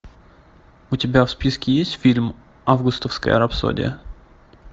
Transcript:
у тебя в списке есть фильм августовская рапсодия